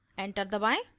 enter दबाएं